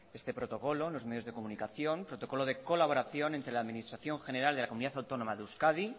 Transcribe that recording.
este protocolo en los medios de comunicación protocolo de colaboración entre la administración general de la comunidad autónoma de euskadi